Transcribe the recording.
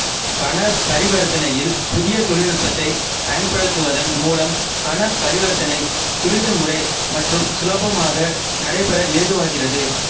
பண பரிவர்த்தனையில் புதிய தொழில்நுட்பத்தை பயன்படுத்துவதன் மூலம் பண பரிவர்த்தனை துரிதமுறை மற்றும் சுலபமாக நடைபெற ஏதுவாகிறது